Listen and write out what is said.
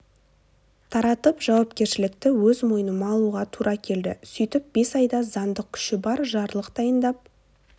таратып жауапкершілікті өз мойныма алуға тура келді сөйтіп бес айда заңдық күші бар жарлық дайындап